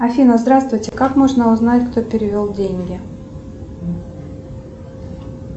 афина здравствуйте как можно узнать кто перевел деньги